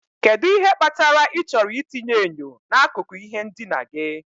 Kedu ihe kpatara ịchọrọ itinye enyo n'akụkụ ihe ndina gị?